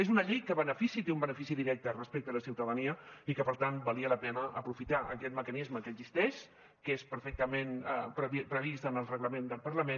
és una llei que té un benefici directe respecte a la ciutadania i que per tant valia la pena aprofitar aquest mecanisme que existeix que és perfectament previst en el reglament del parlament